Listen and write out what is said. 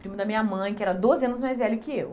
Primo da minha mãe, que era doze anos mais velho que eu.